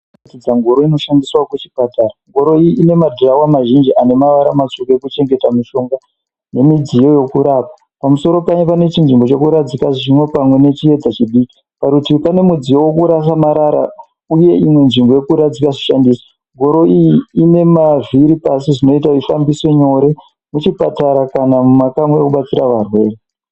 Kubvunza ngoro inoshandiswa kuchipatara. Ngoro iyi ine madhirawo mazhinji anemavara matsvuku ekuchengeta mishonga nemidziyo yekurapa. Pamusoro payo pane chinzvimbo chekuradzika zvimwe pamwe nechiedza chidiki. Parutivi pane midziyo wekurasa marara uye imwe nzvimbo yekuradzika zvishandiso. Ngoro iyi ine mavhiri pasi zvinoita ifambise nyore muchipatara kana mumakamuri ekubatsira varwere.